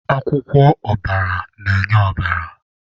Akwụkwọ ọbara na-enye ọbara.